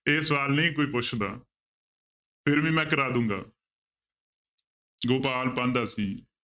ਇਹ ਸਵਾਲ ਨਹੀਂ ਕੋਈ ਪੁੱਛਦਾ ਫਿਰ ਵੀ ਮੈਂ ਕਰਵਾ ਦੇਵਾਂਗਾ ਗੋਪਾਲ ਪਾਂਧਾ ਸੀ